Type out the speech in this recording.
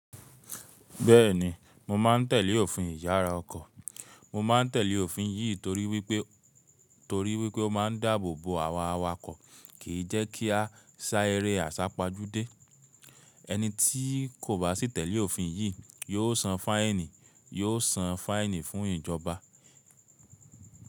Bẹ́ẹ̀ni, mo ma n tèlé òfin ìyára ọkọ̀. Mo ma n tèlé òfin yìí torí wípé torí wípé ó ma n dáàbò bo àwa awakọ̀ kì jẹ́ kí a sá eré àsápajúdé. Ẹni tí kò bá sì tèlé òfin yìí, yóò san fáìnì yóò san fáìnì fún ìjọba.